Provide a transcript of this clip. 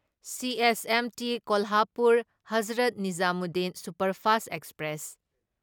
CSMT Kolhapur Hazrat Nizamuddin superfast express